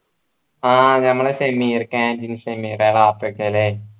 ആഹ് ഞമ്മളെ ഷെമീർക്ക